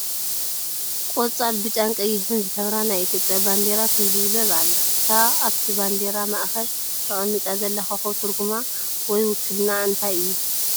ቆፃል፣ ብጫን ቀይሕን ዝሕብራ ናይ ኢትዮጵያ ባንዲራ ትውልብለብ ኣላ፡፡ እታ ኣብቲ ባንዲራ ማእኸል ተቐሚጣ ዘላ ኮኸብ ትርጉማ ወይ ውክልንኣ እንታይ እዩ?